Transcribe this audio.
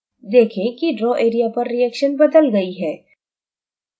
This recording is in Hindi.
देखें कि draw area पर reaction बदल गई है